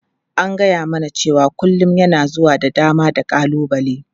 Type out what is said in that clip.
An gaya mana cewa kullun yana zuwa da dama da ƙalubale.